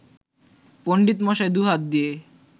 পণ্ডিতমশাই দুহাত দিয়ে